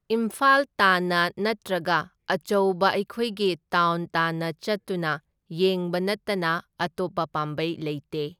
ꯏꯝꯐꯥꯜ ꯇꯥꯟꯅ ꯅꯠꯇ꯭ꯔꯒ ꯑꯆꯧꯕ ꯑꯩꯈꯣꯏꯒꯤ ꯇꯥꯎꯟ ꯇꯥꯟꯅ ꯆꯠꯇꯨꯅ ꯌꯦꯡꯕ ꯅꯠꯇꯅ ꯑꯇꯣꯞꯄ ꯄꯥꯝꯕꯩ ꯂꯩꯇꯦ꯫